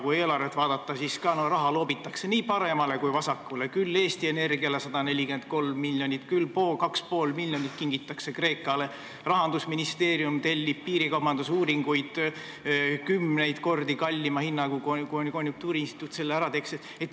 Kui eelarvet vaadata, siis näeme, et raha loobitakse nii paremale kui ka vasakule, küll Eesti Energiale 143 miljonit, küll kingitakse 2,5 miljonit Kreekale, Rahandusministeerium tellib piirikaubandusuuringuid kümneid kordi kallima hinnaga kui see, mille eest konjunktuuriinstituut selle ära teeks.